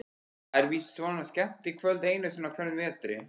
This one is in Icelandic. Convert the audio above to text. Það er víst svona skemmtikvöld einu sinni á hverjum vetri.